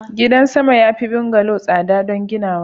gida sama ya fi bungalow tsada don ginawa